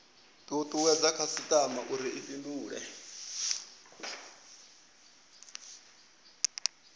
tutuwedze khasitama uri i fhindule